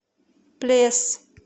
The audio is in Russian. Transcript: плес